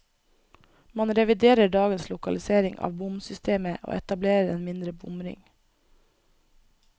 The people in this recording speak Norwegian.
Man reviderer dagens lokalisering av bomsystemet, og etablerer en indre bomring.